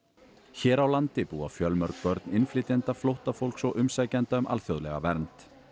hér á landi búa fjölmörg börn innflytjenda flóttafólks og umsækjenda um alþjóðlega vernd